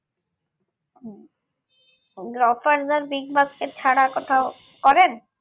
হুঁ গ্রফার্স আর বিগবাস্কেট ছাড়া আর কোথাও করেন